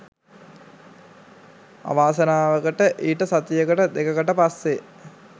අවාසනාවකට ඊට සතියකට දෙකකට පස්සෙ